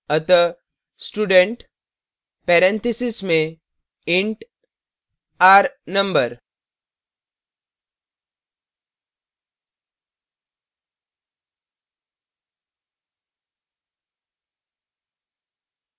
अतः student paranthesis में int r number